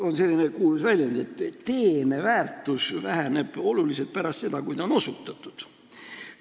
On selline kuulus väljend, et teene väärtus väheneb oluliselt pärast seda, kui ta on osutatud.